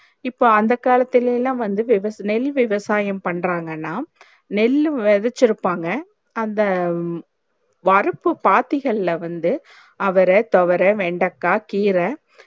இப்போ அந்த காலத்தில்ல வந்து விவசா நெல் விவசாயம் பண்றாங்கான நெல் விதைச்சி இருப்பாங்க அந்த வரப்பு பாத்திகள வந்து அவர தொவர வெண்டைக்காய் கீர